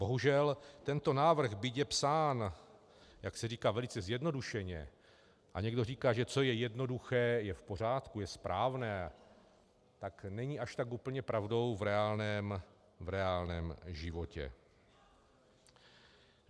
Bohužel tento návrh, byť je psán, jak se říká, velice zjednodušeně, a někdo říká, že co je jednoduché, je v pořádku, je správné, tak není až tak úplně pravdou v reálném životě.